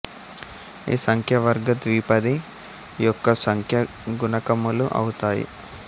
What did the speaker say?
ఈ సంఖ్య వర్గ ద్విపది యొక్క సంఖ్యా గుణకములు అవుతాయి